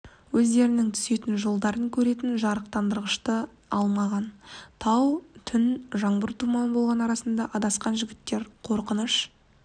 өздерінің түсетін жолдарын көретін жарықтандырғышты да алмаған тау түн жаңбыр туман болғандықтан адасқан жігіттер қорқыныш